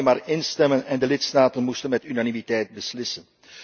We konden alleen maar instemmen en de lidstaten moesten met unanimiteit beslissen.